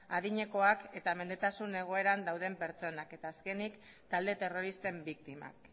adinekoak eta mendetasun egoeran dauden pertsonak eta azkenik talde terroristen biktimak